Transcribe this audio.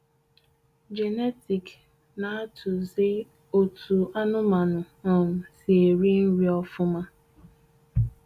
Jenetik na-atụ zi otú anụmanụ um si eri nri ofụma.